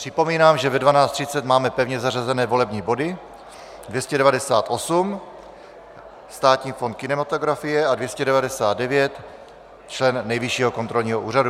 Připomínám, že ve 12.30 máme pevně zařazené volební body 298, Státní fond kinematografie, a 299, člen Nejvyššího kontrolního úřadu.